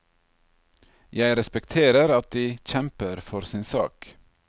Jeg respekterer at de kjemper for sin sak.